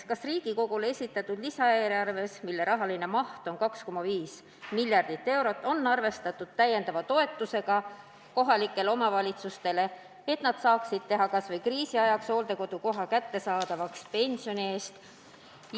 Kas Riigikogule esitatud lisaeelarves, mille rahaline maht on 2,5 miljardit eurot, on arvestatud täiendava toetusega kohalikele omavalitsustele, et nad saaksid kas või kriisi ajaks teha hooldekodukoha kättesaadavaks pensioni eest?